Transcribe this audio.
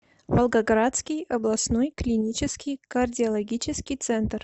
волгоградский областной клинический кардиологический центр